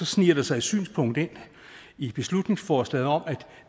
sniger der sig et synspunkt ind i beslutningsforslaget om at